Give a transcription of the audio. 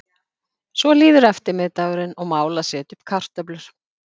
Svo líður eftirmiðdagurinn og mál að setja upp kartöflur.